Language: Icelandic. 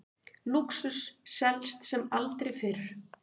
Lúxus selst sem aldrei fyrr